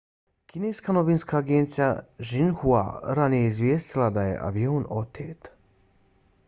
kineska novinska agencija xinhua ranije je izvijestila da je avion otet